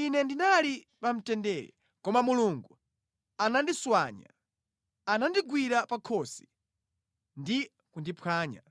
Ine ndinali pamtendere, koma Mulungu ananditswanya; anandigwira pa khosi ndi kundiphwanya.